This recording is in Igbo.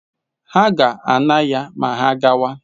Ha ga-ana ya ma ha gawa.